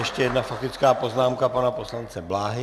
Ještě jedna faktická poznámka pana poslance Bláhy.